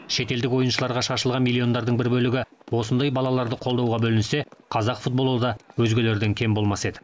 шетелдік ойыншыларға шашылған миллиондардың бір бөлігі осындай балаларды қолдауға бөлінсе қазақ футболы да өзгелерден кем болмас еді